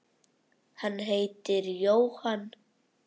Hann heitir Jóhann